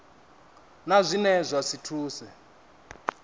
na zwine zwa si thuse